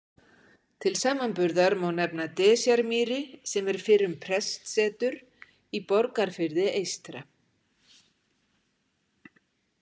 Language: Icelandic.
Til samanburðar má nefna Desjarmýri sem er fyrrum prestsetur í Borgarfirði eystra.